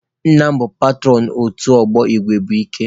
Nna m bụ petụrọn otu ọgbọ igwe bụ ike.